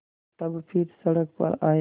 तब फिर सड़क पर आये